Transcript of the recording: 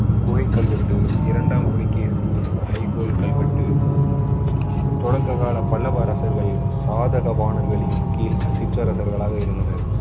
குகை கல்வெட்டு இரண்டாம் புலிகேசியின் ஐங்கோல் கல்வெட்டு தொடக்க கால பல்லவரசர்கள் சாதகவாணர்களின் கீழ் சிற்றரசர்களாக இருந்தனர்